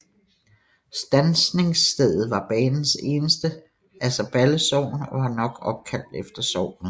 Standsningsstedet var banens eneste i Asserballe Sogn og var nok opkaldt efter sognet